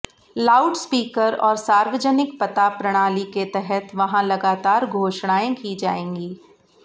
loudspeaker और सार्वजनिक पता प्रणाली के तहत वहां लगातार घोषणाएं की जाएगीं